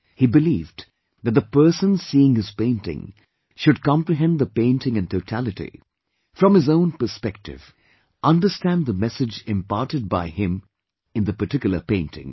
He believed that the person seeing his painting should comprehend the painting in totality, from his own perspective, understand the message imparted by him in the particularpainting